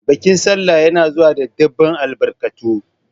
Bikin sallah ya na zuwa da ɗinbin albarkatu